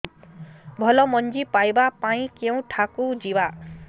ଭଲ ମଞ୍ଜି ପାଇବା ପାଇଁ କେଉଁଠାକୁ ଯିବା